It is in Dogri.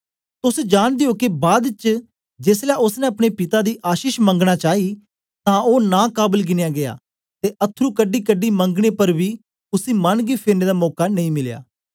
तोस जांनदे ओ के बाद च जेसलै ओसने अपने पिता दी आशीष मंगना चाई तां ओ नां काबल गिनया गीया ते अथरू कढीकढी मंगने पर बी उसी मन गी फेरने दा मौका नेई मिलया